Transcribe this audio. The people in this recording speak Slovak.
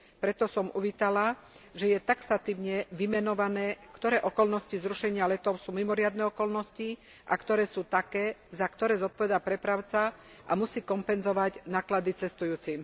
Preto som uvítala, že je taxatívne vymenované, ktoré okolnosti zrušenia letov sú mimoriadne okolnosti a ktoré sú také, za ktoré zodpovedá prepravca a musí kompenzovať náklady cestujúcim.